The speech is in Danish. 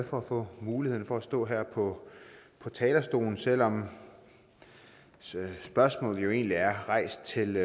for at få muligheden for at stå her på talerstolen selv om spørgsmålet jo egentlig er rejst til